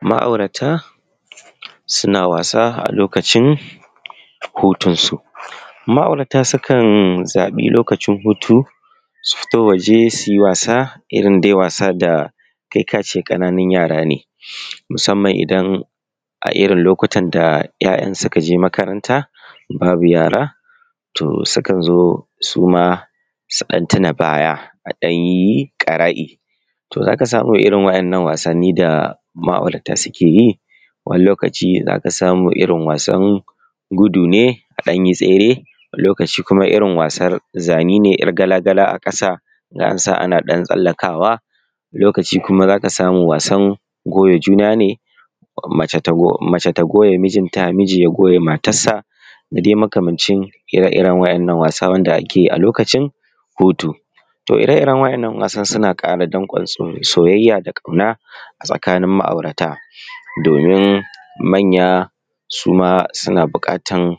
Ma'aurata suna wasa a lokacin hutunsu, ma'aurata sukan zaɓi lokacin hutunsu sukan fito waje su yi wasa da kai ka ce ƙananun yara ne, musamman idan a irin lokutan da 'ya'yansu suka je makaranta babu yara sukan zo su ma su ɗan tuna baya a ɗan yi ƙara'i. To za ka samu irin waɗannan Wasanni da ma'aurata suke yi, wani lokaci za ka samu irin wasan gudu ne a ɗan yi tsere wasu lokacin za ka samu irin wasan zane ne yar gala-gala a ƙasa a ɗan sa ana tsallakawa. Wani lokaci kuma za ka samu wasan goya juna ne, mace ta goya mijinta; miji ya goya matarsa ko makamancin ire-iren wannan wasan wanda ake yi a lokacin hutu. To ire-iren wannan wasan suna ƙara donƙwan soyayya da ƙauna ga ma'aurata domin manya su ma suna buƙatar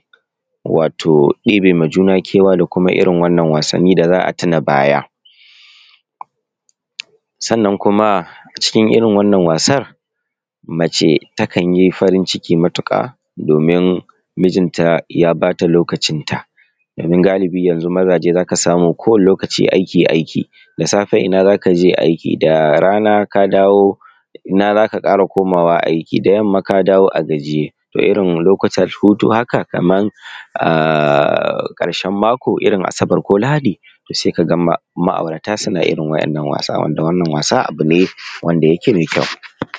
ɗibe ma juna kewa da kuma irin wannan wasanni don a tuna baya. Sannan kuma a cikin Irin wannan wasanni mace takan yi farin ciki matuƙa, domin miji ya ba da lokacinta. Domin galibi yanzu mazaje kowane lokaci za ka ji aiki-aiki da safe ina za ka je aiki, da rana ina ka dawo aiki. Ina za ka ƙara komawa aiki, da yamma ya dawo a gajiye. To irin lokutan hutu haka kamar a ƙarshen mako, irin Asabar ko Lahadi sai ka ga ma'aurata suna irin wannan wasa. Wanda wannan wasa abu ne wanda yake mai ƙyau.